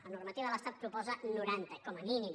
la normativa de l’estat en proposa noranta com a mínim